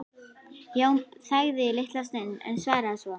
Jón þagði litla stund en svaraði svo